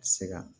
Se ka